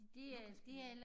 Lucas pære